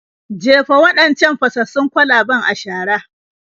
Jefa waɗancan fasassun kwalaben a shara.